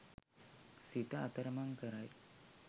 සිත අතරමං කරයි.